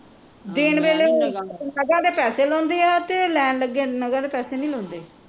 ਦੇਣ ਵੇਲੇ ਉਹ ਨਗਾਂ ਦੇ ਪੈਸੇ ਲਾਉਂਦੇ ਆ ਤੇ ਲੈਣ ਵੇਲੇ ਨਗਾਂ ਦੇ ਪੈਸੇ ਨੀ ਲਾਉਂਦੇ